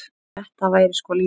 Þetta væri sko lífið.